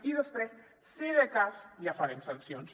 i després si de cas ja farem sancions